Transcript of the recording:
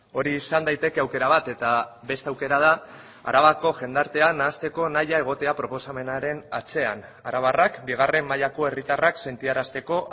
hori izan daiteke aukera bat eta beste aukera da arabako jendartean nahasteko nahia egotea proposamenaren atzean arabarrak bigarren mailako herritarrak sentiarazteko